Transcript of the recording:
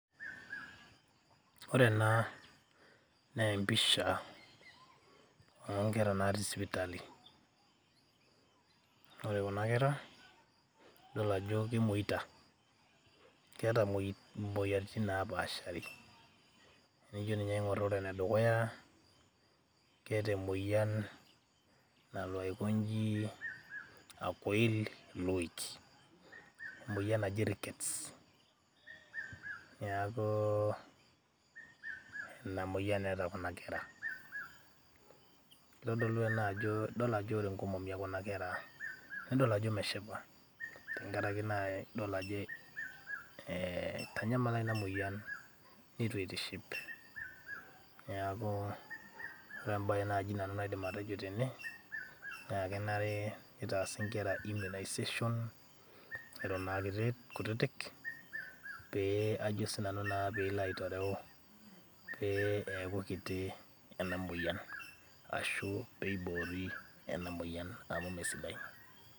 ore ena naa empisha onkera natii sipitali ore kuna kera idol ajo kemoita keeta imoyiaritin napaashari tenijio ninye aing'orr ore enedukuya keeta emoyian nalo aikonji, akoil iloik emoyian naji rickets niaku inamoyian eeta kuna kera kitodolu ina ajo idol ajo ore inkomomi ekuna kera nidol ajo meshipa tenkarake naa idol ajo eh, itanyamala ina moyian neitu itiship niaku ore embaye naaji nanu naidim atejo tene naa kenare nitaasi inkera immunization eton aa kutitik pee ajo sinanu naa peelo aitoreu pee eeku kiti ena moyian ashu peibori ena moyian amu mesidai.